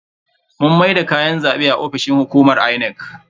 Mun maida kayan zabe a ofishin hukumar Inec.